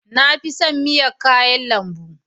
Na fi son miya kayan lambu